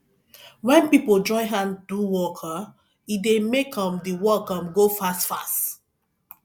wen pipo join hand do work um e dey make um di work um go fastfast